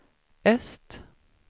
öst